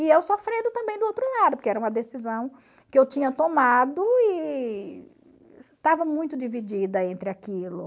E eu sofrendo também do outro lado, porque era uma decisão que eu tinha tomado e estava muito dividida entre aquilo.